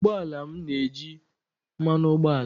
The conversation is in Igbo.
ụgbọ ala m na-eji mmanụ ụgbọala